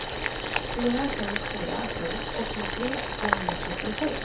fyra sju fyra sju åttiotre tvåhundratrettiosju